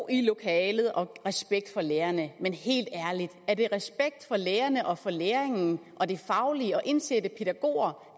i lokalet og respekt for lærerne men helt ærligt er det respekt for lærerne og for læring og det faglige at indsætte pædagoger